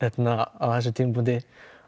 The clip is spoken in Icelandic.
á þessum tímapunkti